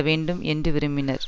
வேண்டும் என்று விரும்பினர்